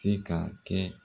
Se ka kɛ